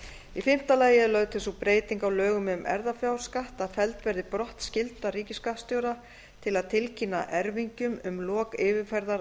í fimmta lagi er lögð til sú breyting á lögum um erfðafjárskatt að felld verði brott skylda ríkisskattstjóra til að tilkynna erfingjum um lok yfirferðar